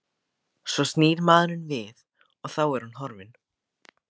Svo snýr maður við og þá er hún horfin.